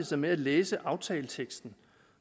sig med at læse aftaleteksten